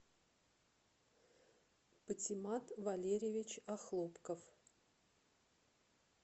патимат валерьевич охлопков